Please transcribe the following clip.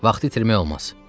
Vaxtı itirmək olmaz.